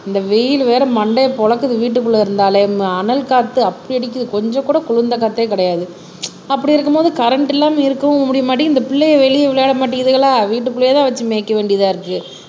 இந்த வெயில் வேற மண்டையை பொளக்குது வீட்டுக்குள்ள இருந்தாலே ஹம் அனல் காத்து அப்படி அடிக்குது கொஞ்சம் கூட குளிர்ந்த காற்றே கிடையாது அப்படி இருக்கும்போது கரண்ட் இல்லாம இருக்கவும் முடிய மாட்டேங்குது இந்த பிள்ளையை வெளியே விளையாட மாட்டேங்குதுகளா வீட்டுக்குள்ளேயேதான் வச்சு மேய்க்க வேண்டியதா இருக்கு